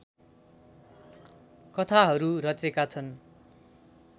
कथाहरू रचेका छन्